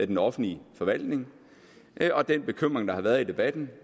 den offentlige forvaltning og den bekymring der har været i debatten